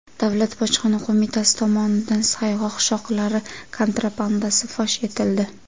Davlat bojxona qo‘mitasi tomonidan sayg‘oq shoxlari kontrabandasi fosh etildi.